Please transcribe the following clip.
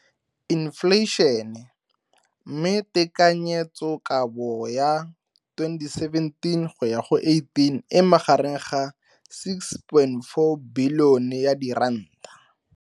Infleišene, mme tekanyetsokabo ya 2017 go ya go 18 e magareng ga R6.4 bilione.